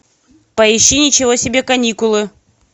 поищи ничего себе каникулы